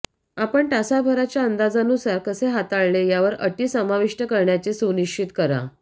आपण तासाभराच्या अंदाजानुसार कसे हाताळले यावर अटी समाविष्ट करण्याचे सुनिश्चित करा